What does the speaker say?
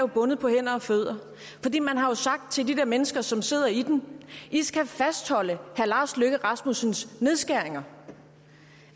bundet på hænder og fødder fordi man har sagt til de der mennesker som sidder i den i skal fastholde herre lars løkke rasmussens nedskæringer